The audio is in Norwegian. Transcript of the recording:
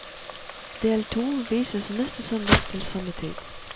Del to vises neste søndag til samme tid.